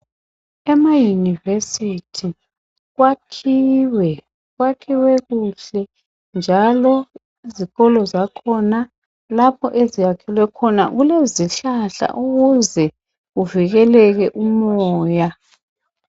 Ema university kwakhiwe kwakhiwe kuhle njalo izikolo zakhona laohoveziyakhelwe khona kulezihlahla ukuze kuvikeleke umoya.